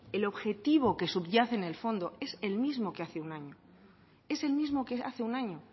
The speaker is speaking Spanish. el objetivo que subyace en el fondo es el mismo que hace un año es el mismo que hace un año